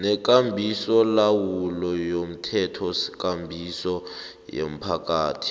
nekambisolawulo yomthethokambiso yomphakathi